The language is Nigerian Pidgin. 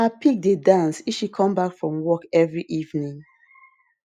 her pig dey dance if she come back from work every evening